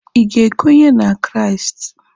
Ị ga-ekwenye na Kraịst?